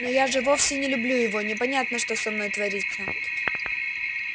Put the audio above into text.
но я же вовсе не люблю его непонятно что со мной творится